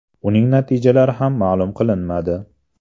Uning natijalari ham ma’lum qilinmadi.